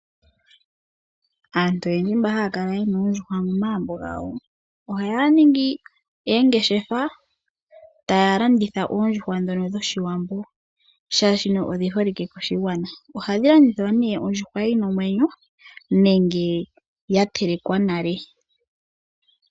Aantu oyendji mboka haya kala ye na oondjuhwa momagumbo gawo ohaya ningi oongeshefa taya landitha oondjuhwa ndhoka dhOshiwambo, oshoka odhi holike koshigwana. Ohadhi landithwa nduno ondjuhwa yi na omwenyo nenge ya telekwa nale.